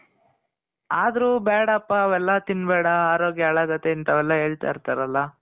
ಆದ್ರು ಬ್ಯಾಡಪ ಅವೆಲ್ಲ ತಿನ್ಬೇಡ. ಆರೋಗ್ಯ ಹಾಳಾಗತ್ತೆ. ಇಂತವೆಲ್ಲ ಹೇಳ್ತಾ ಇರ್ತಾರಲ.